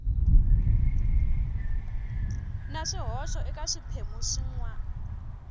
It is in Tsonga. na swihoxo eka swiphemu swin